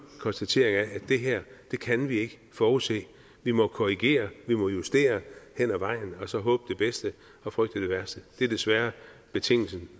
konstatering af at det her kan vi ikke forudse vi må korrigere og vi må justere hen ad vejen og så håbe det bedste og frygte det værste det er desværre betingelsen